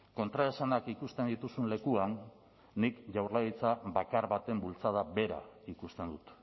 kontraesanak ikusten dituzun lekuan nik jaurlaritza bakar baten bultzada bera ikusten dut